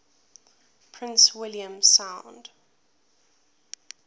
prince william sound